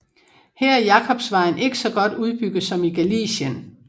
Her er Jakobsvejen ikke så godt udbygget som i Galicien